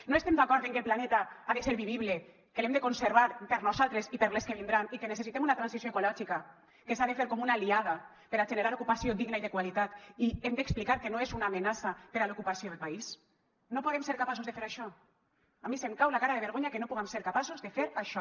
no estem d’acord en que el planeta ha de ser vivible que l’hem de conservar per nosaltres i per les que vindran i que necessitem una transició ecològica que s’ha de fer com una aliada per a generar ocupació digna i de qualitat i hem d’explicar que no és una amenaça per a l’ocupació del país no podem ser capaços de fer això a mi se’m cau la cara de vergonya que no puguem ser capaços de fer això